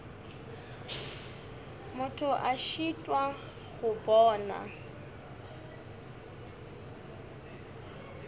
motho a šitwa go bona